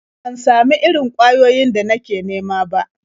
Ban samu irin ƙwayoyin da nake nema ba.